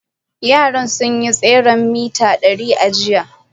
Yara sun yi tseren mita dari a jiya.